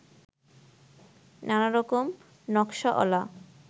নানারকম নকশা অলা